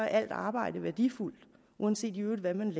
alt arbejde værdifuldt uanset hvad man i